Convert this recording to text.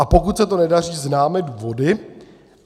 A pokud se to nedaří, známe důvody?